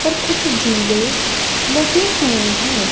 पर कुछ झूले लगे हुए हैं।